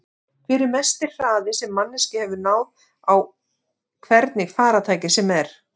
Hver er mesti hraði sem manneskja hefur náð á hvernig farartæki sem er?